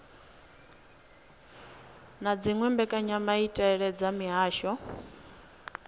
na dziwe mbekanyamaitele dza mihasho